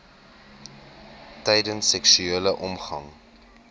tydens seksuele omgang